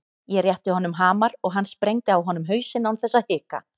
Ég rétti honum hamar og hann sprengdi á honum hausinn án þess að hika.